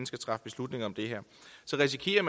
skal træffe beslutning om det her så risikerer